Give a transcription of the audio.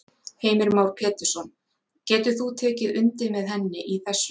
Heimir Már Pétursson: Getur þú tekið undir með henni í þessu?